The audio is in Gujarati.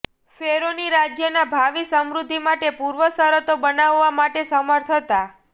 ફેરોની રાજ્યના ભાવિ સમૃદ્ધિ માટે પૂર્વશરતો બનાવવા માટે સમર્થ હતા